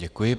Děkuji.